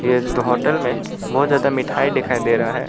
यह होटल में बहुत ज्यादा मिठाई दिखाई दे रहा है।